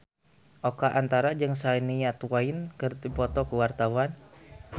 Oka Antara jeung Shania Twain keur dipoto ku wartawan